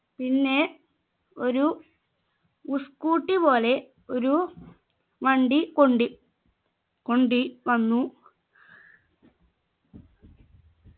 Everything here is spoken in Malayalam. പിന്നെ ഒരു ഉ scooty പോലെ ഒരു വണ്ടി കൊണ്ടി കൊണ്ട് വന്നു